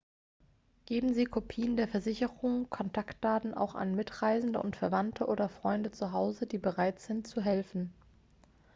geben sie kopien der versicherung/kontaktdaten auch an mitreisende und verwandte oder freunde zu hause die bereit sind zu helfen